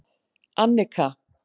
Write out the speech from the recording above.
Annika